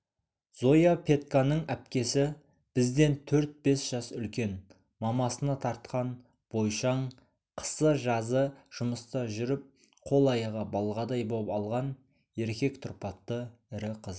зояпетьканың әпкесі бізден төрт-бес жас үлкен мамасына тартқан бойшаң қысы-жазы жұмыста жүріп қол-аяғы балғадай боп алған еркек тұрпатты ірі қыз